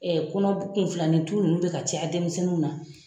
kɔnɔ kun filanin tu nunnu bɛ ka caya denmisɛnninw na.